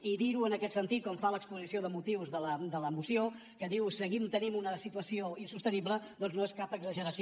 i dir ho en aquest sentit com fa l’exposició de motius de la moció que diu seguim tenint una situació insostenible doncs no és cap exageració